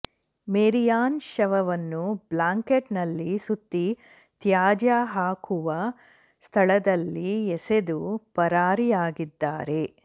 ಮೇರಿಯಾನ್ ಶವವನ್ನು ಬ್ಲಾಂಕೇಟ್ ನಲ್ಲಿ ಸುತ್ತಿ ತ್ಯಾಜ್ಯ ಹಾಕುವ ಸ್ಥಳದಲ್ಲಿ ಎಸೆದು ಪರಾರಿಯಾಗಿದ್ದಾರೆ